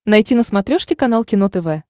найти на смотрешке канал кино тв